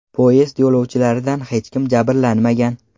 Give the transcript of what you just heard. Poyezd yo‘lovchilaridan hech kim jabrlanmagan.